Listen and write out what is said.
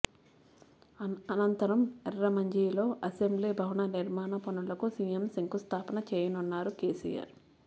అనంతరం ఎర్రమంజిల్లో అసెంబ్లీ భవన నిర్మాణపనులకు సీఎం శంకుస్థాపన చేయనున్నారు కేసీఆర్